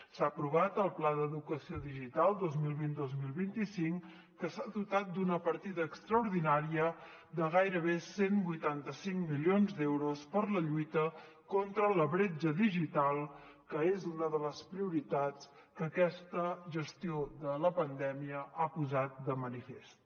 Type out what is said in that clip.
s’ha aprovat el pla d’educació digital dos mil vint dos mil vint cinc que s’ha dotat d’una partida extraordinària de gairebé cent i vuitanta cinc milions d’euros per a la lluita contra la bretxa digital que és una de les prioritats que aquesta gestió de la pandèmia ha posat de manifest